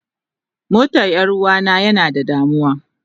Motar Yaruwa na yana da damuwa.